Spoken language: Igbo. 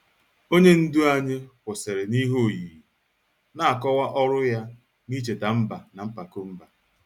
Onye ndu anyị kwụsịrị n'ihe oyiyi, na-akọwa ọrụ ya n'icheta mba na mpako mba.